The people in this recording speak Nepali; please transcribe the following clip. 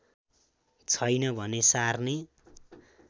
छैन भने सार्ने